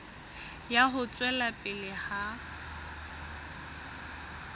ya ho tswela pele ha